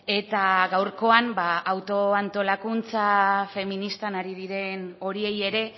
eta gaurkoan auto antolakuntza feministan ari diren horiei ere